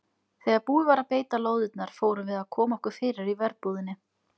Þegar búið var að beita lóðirnar fórum við að koma okkur fyrir í verbúðinni.